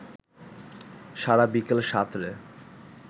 সারা বিকেল সাঁতরে